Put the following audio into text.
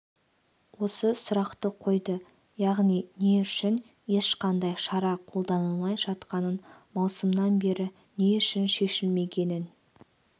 осы сұрақты қойды яғни не үшін ешқандай шара қолданылмай жатқанын маусымнан бері не үшін шешілмегенін